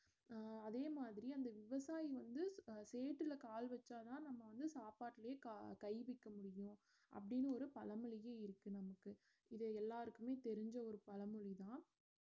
அஹ் அதே மாதிரி அந்த விவசாயி வந்து சேத்துல கால் வச்சாதான் நம்ம வந்து சாப்பாட்டுலயே கா~ கை வைக்க முடியும் அப்படினு ஒரு பழமொழியே இருக்கு நமக்கு இது எல்லார்க்குமே தெரிஞ்ச ஒரு பழமொழி தான்